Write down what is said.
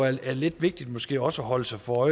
er lidt vigtigt måske også at holde sig for